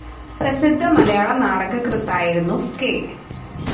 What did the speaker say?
പ്രസിദ്ധ മലയാള നാടകകൃത്തായിരുന്നു കെ.